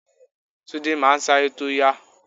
Túndé máa ń aláré tó yá.